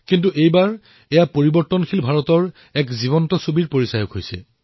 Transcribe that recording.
এয়া নিজৰ মাজতেই পৰিৱৰ্তিত হিন্দুস্তানৰ এক জীৱন্ত প্ৰতিচ্ছবি